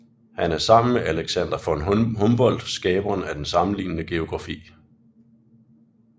Han er sammen med Alexander von Humboldt skaberen af den sammenlignende geografi